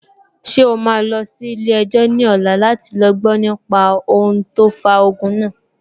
Ṣé o máa lọ sí ilé-ẹjọ́ ní ọ̀la láti gbọ nípa ohun tó fa ogun náà?